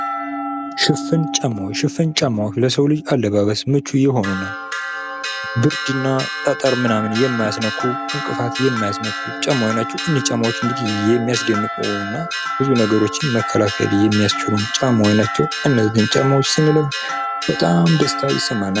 ሽፍን ጫማ ሽፍን ጫማዎች ለሰው ልጅ አለባበስ ምቹ የሆነና ብርድና ጠጠር ምናምን የማያስነኩ እንቅፋት የማያስመቱ ጫማዎች ናቸው። እኒህ ጫማዎች እንግዲህ የሚያስደንቁና ብዙ ነገሮችን መከላከል የሚያስችሉ ጫማዎች ናቸው። እነዚህን ጫማዎች ስንለብስ በጣም ደስታ ይሰማናል።